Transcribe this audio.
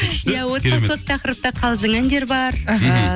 иә отбасылық тақырыпта қалжың әндер бар